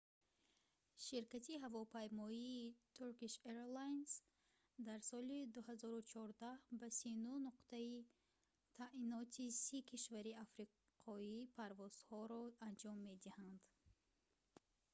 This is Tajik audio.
ширкати ҳавопаймоии turkish airlines дар соли 2014 ба 39 нуқтаи таъиноти 30 кишвари африқоӣ парвозҳоро анҷом медиҳанд